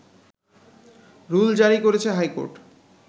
rule জারি করেছে high court